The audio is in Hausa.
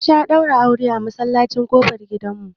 ana daura aure a masallaci ko kofar gida